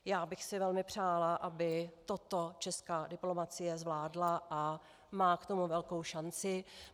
Já bych si velmi přála, aby toto česká diplomacie zvládla, a má k tomu velkou šanci.